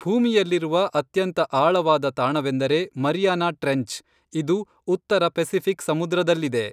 ಭೂಮಿಯಲ್ಲಿರುವ ಅತ್ಯಂತ ಆಳವಾದ ತಾಣವೆಂದರೆ ಮರಿಯಾನಾ ಟ್ರೆಂಚ್ ಇದು ಉತ್ತರ ಪೆಸಿಫಿಕ್ ಸಮುದ್ರದಲ್ಲಿದೆ